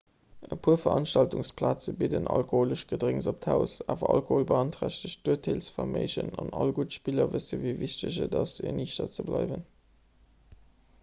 e puer veranstaltungsplaze bidden alkoholesch gedrénks op d'haus awer alkohol beanträchtegt d'urteelsverméigen an all gutt spiller wëssen wéi wichteg et ass eniichter ze bleiwen